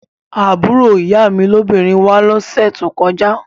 Àbúrò ìyá mi lóbìnrin wá lọ́sẹ̀ tó kọjá